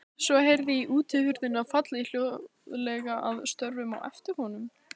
Svo heyrði ég útihurðina falla hljóðlega að stöfum á eftir honum.